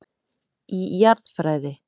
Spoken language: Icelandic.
Í Jarðfræði.